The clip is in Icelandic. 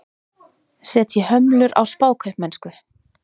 Setji hömlur á spákaupmennsku